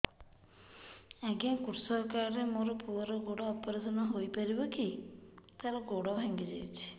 ଅଜ୍ଞା କୃଷକ କାର୍ଡ ରେ ମୋର ପୁଅର ଗୋଡ ଅପେରସନ ହୋଇପାରିବ କି ତାର ଗୋଡ ଭାଙ୍ଗି ଯାଇଛ